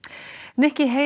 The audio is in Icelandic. nikki